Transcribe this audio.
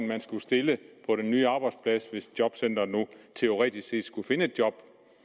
man skulle stille på den nye arbejdsplads hvis jobcenteret nu teoretisk set skulle finde et job